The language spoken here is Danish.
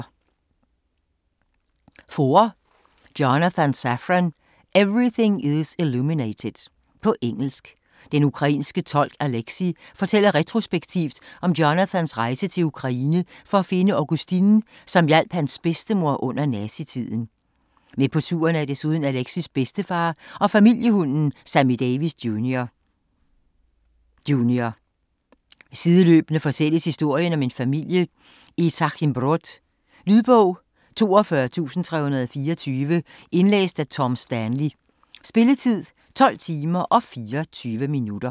Foer, Jonathan Safran: Everything is illuminated På engelsk. Den ukrainske tolk Alexi fortæller retrospektivt om Jonathans rejse til Ukraine for at finde Augustine, som hjalp hans bedstemor under nazitiden. Med på turen er desuden Alexis bedstefar og familiehunden Sammy Davis Junior Junior; sideløbende fortælles historien om en familie i Trachimbrod. Lydbog 42324 Indlæst af Tom Stanley Spilletid: 12 timer, 24 minutter.